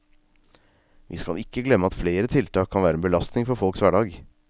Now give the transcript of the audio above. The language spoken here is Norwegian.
Vi skal ikke glemme at flere tiltak kan være en belastning for folks hverdag.